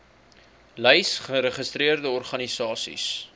lys geregistreerde organisasies